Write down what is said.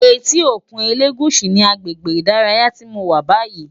Éti ókún Elegushi ni àgbégbé idàráyá ti mó wà bàyí